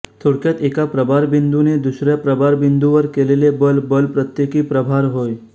थोडक्यात एका प्रभारबिंदूने दुसऱ्या प्रभार बिंदूवर केलेले बल बल प्रत्येकी प्रभार होय